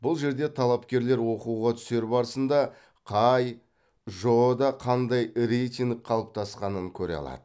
бұл жерде талапкерлер оқуға түсер барысында қай жоо да қандай рейтинг қалыптасқанын көре алады